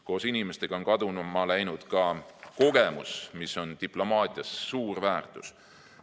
Koos inimestega on kaduma läinud ka kogemus, mis on diplomaatias suur väärtus.